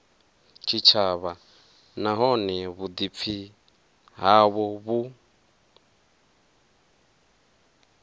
tshitshavha nahone vhuḓipfi havho vhu